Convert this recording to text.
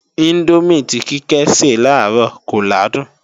Índómì tí Kíkẹ́ se làárọ̀ kò làádùn